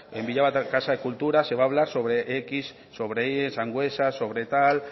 en villava casa de cultura se va a hablar sobre x sobre y sangüesa sobre tal